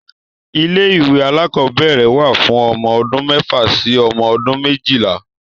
Ilé-ìwé alákọ̀ọ́bẹ̀rẹ̀ wà fún ọmọ odún mẹ́fà sí ọmọ ọdún méjìlá.